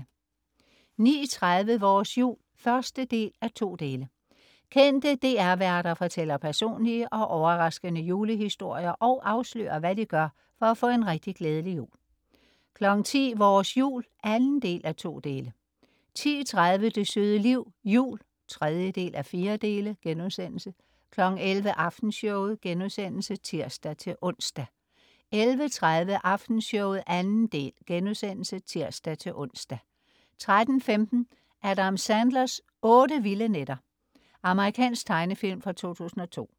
09.30 Vores jul 1:2. Kendte DR-værter fortæller personlige og overraskende julehistorier og afslører, hvad de gør for at få en rigtig, glædelig jul 10.00 Vores jul 2:2 10.30 Det søde liv. Jul 3:4* 11.00 Aftenshowet* (tirs-ons) 11.30 Aftenshowet 2. del* (tirs-ons) 13.15 Adam Sandlers otte vilde nætter. Amerikansk tegnefilm fra 2002